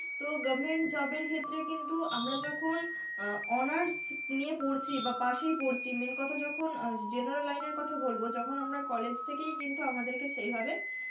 তো government job এর ক্ষেত্রে কিন্তু আমরা যখন অ্যাঁ honours নিয়ে পড়ছি বা পাসেই পড়ছি, main কথা যখন অ্যাঁ general line এর কথা বলব যখন আমরা college থেকেই কিন্তু আমাদের কে সেইভাবে